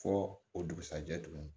Fɔ o dugusajɛ tuguni